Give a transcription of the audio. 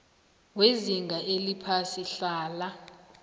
wezinga eliphasi hlala